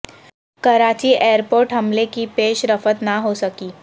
Karachi airport حملے کی پیش رفت نہ ہو سکی